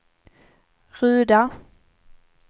Ruda